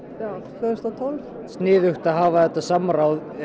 tvö þúsund og tólf mér sniðugt að hafa þetta samráð